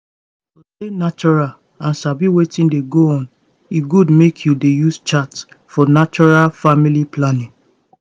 to stay natural and sabi wetin dey go on e good make you dey use chart for natural family planning